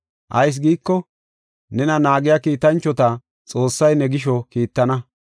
Ayis giiko, “ ‘Nena naagiya Kiitanchota Xoossay ne gisho kiittana.